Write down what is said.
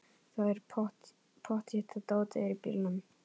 Það er pottþétt að dótið er í bílnum!